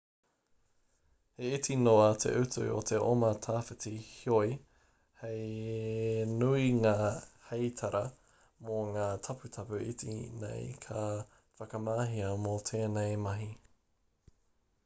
he iti noa te utu o te oma tawhiti heoi he nui ngā heitara mō ngā taputapu iti nei ka whakamahia mō tēnei mahi